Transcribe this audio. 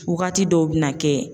Waagati dɔw bɛ na kɛ.